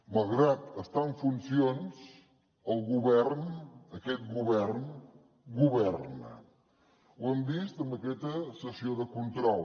malgrat estar en funcions el govern aquest govern governa ho hem vist en aquesta sessió de control